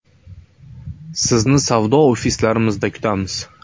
Sizni savdo ofislarimizda kutamiz.